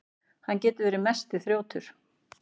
Hann getur verið mesti þrjótur.